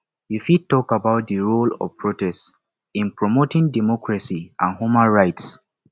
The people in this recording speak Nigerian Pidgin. you fit talk about di role of protest in promoting democracy and human rights